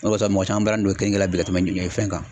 O de kɔsɔn mɔgɔ caman balannen no keninke la bi ka tɛmɛ fɛn kan.